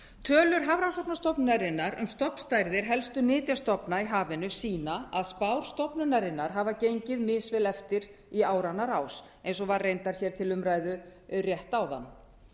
tölur hafrannsóknastofnunarinnar um stofnstærðir helstu nytjastofna í hafinu sýna að spár stofnunarinnar hafa gengið misvel eftir í áranna rás eins og var reyndar hér til umræðu rétt áðan